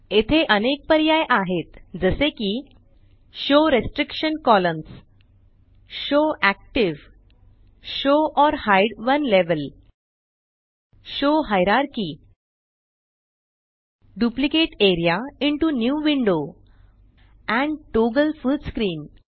येथे अनेक पर्याय आहेत जसे की show restriction columns show active show or hide one level show hierarchy duplicate area into new window and toggle full screen